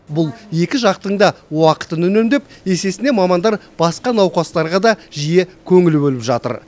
бұл екі жақтың да уақытын үнемдеп есесіне мамандар басқа науқастарға да жиі көңіл бөліп жатыр